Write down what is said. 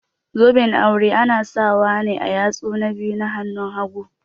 Zoben aure ana sawa ne a yatsu na biyu na hanun hagu.